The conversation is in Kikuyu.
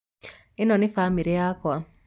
ĩno nĩ bamĩrĩ yakwa